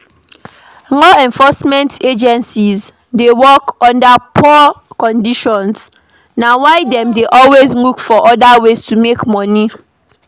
Law enforcement agents dey work under poor conditions na why dem dey always look for oda ways to make money